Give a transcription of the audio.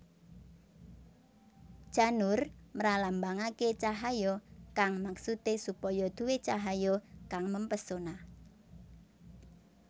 Janur mralambangake cahaya kang maksude supaya duwé cahaya kang mempesona